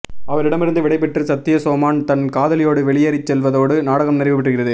அவரிடமிருந்து விடைபெற்று சத்தியசோமன் தன் காதலியோடு வெளியேறிச் செல்வதோடு நாடகம் நிறைவு பெறுகிறது